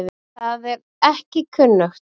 Það er ekki kunnugt.